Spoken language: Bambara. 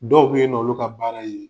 Dɔw be yen'ɔlu ka baara ye